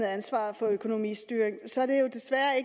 ansvar for økonomistyringen så er det jo desværre